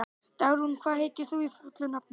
Dagrún, hvað heitir þú fullu nafni?